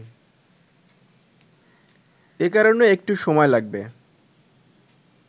এ কারণে একটু সময় লাগবে